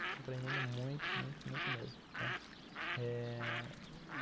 Estou aprendendo muito, muito, muito mesmo, né. Eh...